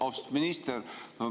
Austatud minister!